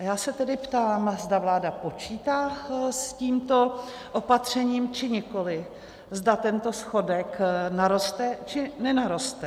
A já se tedy ptám, zda vláda počítá s tímto opatřením, či nikoli, zda tento schodek naroste, či nenaroste.